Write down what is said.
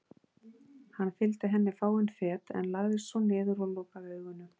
Hann fylgdi henni fáein fet en lagðist svo niður og lokaði augunum.